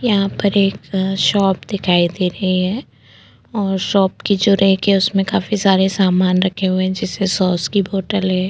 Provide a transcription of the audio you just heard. यहाँ पर एक शॉप दिखाई दे रही है और शॉप की जो रॅक है उसमें काफी सारे सामान रखे हुए हैं जिसे सॉस की बोतल है।